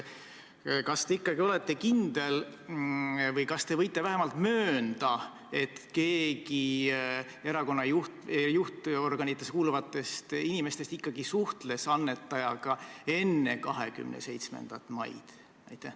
Kas te ikkagi olete kindel või kas te võite vähemalt möönda, et keegi erakonna juhtorganitesse kuuluvatest inimestest ikkagi suhtles annetajaga enne 27. maid?